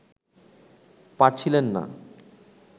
পারছিলেন না